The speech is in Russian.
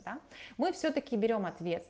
да мы всё-таки берём ответ